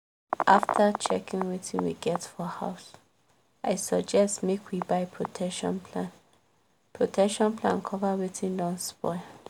after checking wetin we get for house i suggest make we buy protection plan protection plan cover wetin don spoil